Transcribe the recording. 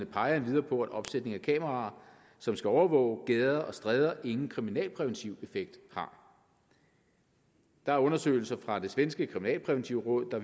peger endvidere på at opsætning af kameraer som skal overvåge gader og stræder ingen kriminalpræventiv effekt har der er undersøgelser fra det svenske kriminalpræventive råd der